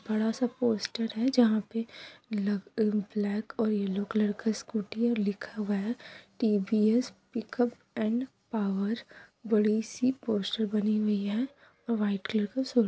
बड़ा सा पोस्टर है जहां पे ल-ब्लैक और येलो कलर का सकूटी है और लिखा हुआ है टी.वी.एस पिकप एण्ड पावर बड़ी सी पोस्टर बनी हुई है और व्हाइट कलर का --